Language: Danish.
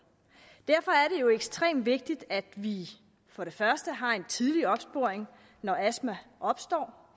derfor er det jo ekstremt vigtigt at vi har en tidlig opsporing når astma opstår